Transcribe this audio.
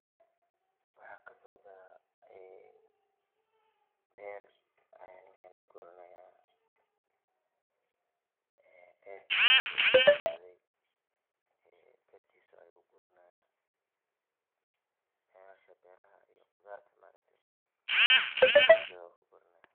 Waxaa kasocda beer galey ee ka baxde beeraha iyo qudharta ayu gurani haya.